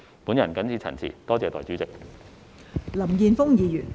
我謹此陳辭，多謝代理主席。